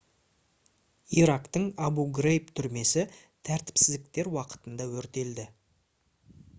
ирактың абу-грейб түрмесі тәртіпсіздіктер уақытында өртелді